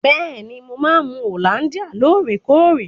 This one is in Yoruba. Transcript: Bẹ́ẹ̀ni, mo máa ń mu hollandia lóòrèkóòrè.